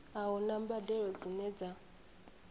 a huna mbadelo dzine dza